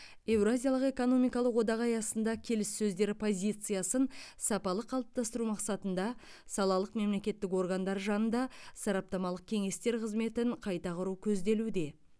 еуразиялық экономикалық одақ аясында келіссөздер позициясын сапалы қалыптастыру мақсатында салалық мемлекеттік органдар жанында сараптамалық кеңестер қызметін қайта құру көзделуде